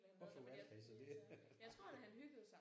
Hvorfor valgte han så det?